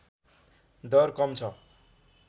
दर कम छ